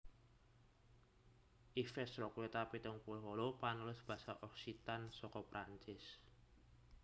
Ives Roqueta pitung puluh wolu panulis basa Occitan saka Prancis